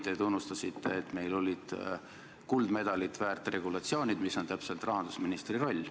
Te tunnustasite, et meil olid kuldmedalit väärt regulatsioonid, mis on täpselt rahandusministri roll.